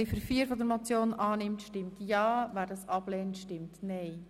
Wer diese annimmt, stimmt ja, wer sie ablehnt, stimmt nein.